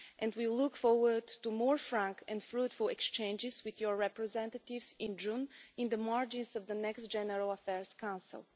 We look forward to more frank and fruitful exchanges with your representatives in June on the margins of the next General Affairs Council.